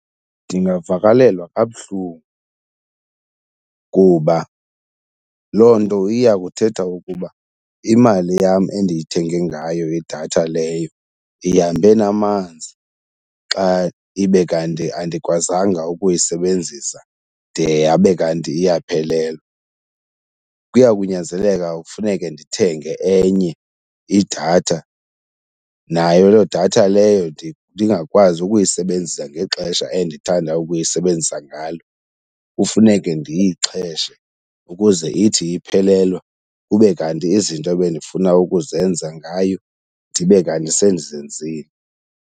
Ndingavakalelwa kabuhlungu kuba loo nto iya kuthetha ukuba imali yam endiyithenge ngayo idatha leyo ihambe namanzi xa ibe kanti andikwazanga ukuyisebenzisa de yabe kanti iyaphelelwa. Kuya kunyanzeleka kufuneke ndithenge enye idatha nayo loo datha leyo ndingakwazi ukuyisebenzisa ngexesha endithanda ukuyisebenzisa ngalo, kufuneke ndiyixheshe ukuze ithi iphelelwa kube kanti izinto ebendifuna ukuzenza ngayo ndibe kanti sendizenzile.